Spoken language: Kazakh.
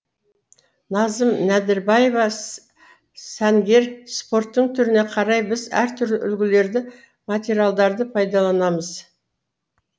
назым нәдірбаева сәнгер спорттың түріне қарай біз әртүрлі үлгілерді материалдарды пайдаланамыз